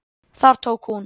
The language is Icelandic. Þar tók hún